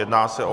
Jedná se o